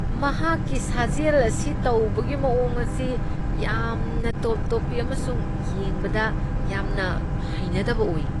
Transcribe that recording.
ꯃꯍꯥꯛꯀꯤ ꯁꯥꯖꯦꯜ ꯑꯁꯤ ꯇꯧꯕꯒꯤ ꯃꯑꯣꯡ ꯑꯁꯤ ꯌꯥꯝꯅ ꯇꯣꯞ ꯇꯣꯞꯄꯤ ꯑꯃꯁꯨꯡ ꯌꯦꯡꯕꯗ ꯌꯥꯝꯅ ꯍꯩꯅꯗꯕ ꯑꯣꯏ꯫